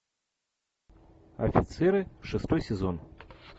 офицеры шестой сезон